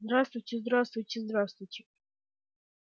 здравствуйте здравствуйте здравствуйте